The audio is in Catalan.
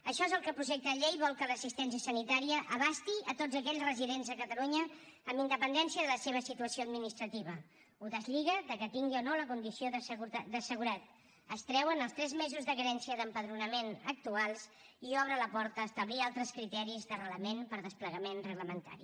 això és el que el projecte de llei vol que l’assistència sanitària abasti tots aquells residents a catalunya amb independència de la seva situació administrativa ho deslliga que tingui o no la condició d’assegurat es treuen els tres mesos de carència d’empadronament actuals i obre la porta a establir altres criteris d’arrelament per desplegament reglamentari